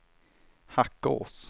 Hackås